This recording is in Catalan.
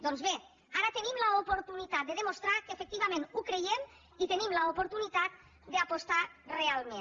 doncs bé ara tenim l’oportunitat de demostrar que efectivament ho creiem i tenim l’oportunitat d’apostar hi realment